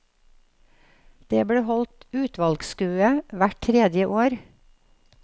Det ble holdt utvalgsskue hvert tredje år.